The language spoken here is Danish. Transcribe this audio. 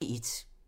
DR P1